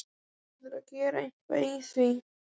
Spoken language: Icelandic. Hún verður að gera eitthvað í því.